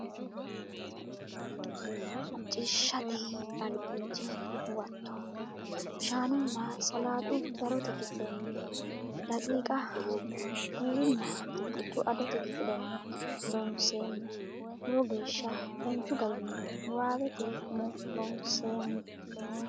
Macciishshate Albiidi Huwato Shaanunna salaaxu darote kifilenni daqiiqa Buurunna burbuxxu adote kifilenni Loonseemmo Lowo geeshsha danchu garinni niwaawete umo loonsoommo.